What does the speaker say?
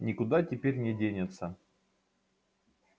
никуда теперь не денется